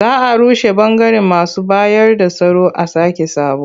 Za a rushe ɓangaren masu bayarda tsaro a sake sabo.